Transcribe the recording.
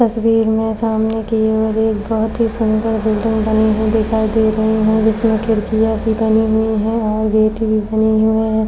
तस्वीर में सामने की ओर एक बहुत ही सुंदर बिल्डिंग बनी हुई दिखाई दे रही है जिसमे खिड़किया भी बनी हुए है और गेट भी बने हुए है।